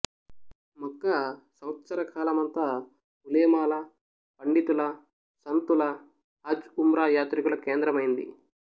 మక్కా సంవత్సరకాలమంతా ఉలేమాల పండితుల సంతుల హజ్ ఉమ్రా యాత్రికుల కేంద్రమయ్యింది